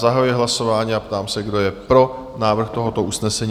Zahajuji hlasování a ptám se, kdo je pro návrh tohoto usnesení?